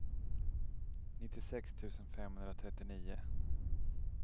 nittiosex tusen femhundratrettionio